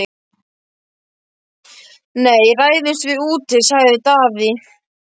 Nei, ræðumst við úti, sagði Daði.